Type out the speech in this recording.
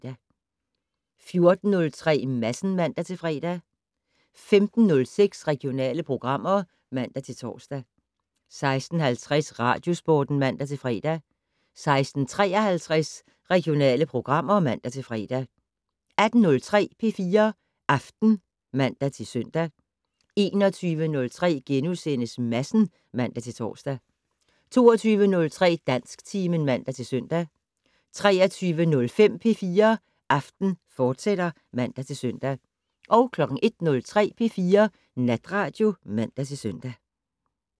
14:03: Madsen (man-fre) 15:06: Regionale programmer (man-tor) 16:50: Radiosporten (man-fre) 16:53: Regionale programmer (man-fre) 18:03: P4 Aften (man-søn) 21:03: Madsen *(man-tor) 22:03: Dansktimen (man-søn) 23:05: P4 Aften, fortsat (man-søn) 01:03: P4 Natradio (man-søn)